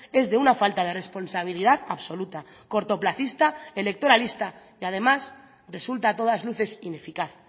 es de una falta de responsabilidad absoluta cortoplacista electoralista y además resulta a todas luces ineficaz